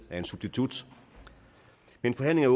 af en substitut men forhandlingen